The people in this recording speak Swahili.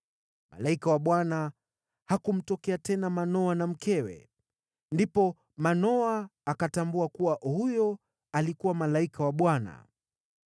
Malaika wa Bwana hakumtokea tena Manoa na mkewe. Ndipo Manoa akatambua kuwa huyo alikuwa malaika wa Bwana .